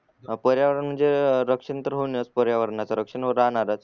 ह पर्यावरण म्हणजे रक्षण तर होणेच पर्यावरणाच रक्षण राहणारच